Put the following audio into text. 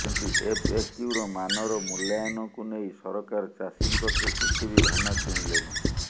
କିନ୍ତୁ ଏଫଏକ୍ୟୁର ମାନର ମୂଲ୍ୟାୟନକୁ ନେଇ ସରକାର ଚାଷୀଙ୍କଠୁ କିଛି ବି ଧାନ କିଣିଲେନି